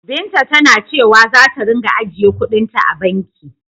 Binta tana cewa zata ringa ajiyekuɗin ta a banki.